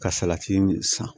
Ka salati san